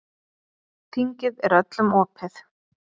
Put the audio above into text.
Þingið er öllum opið.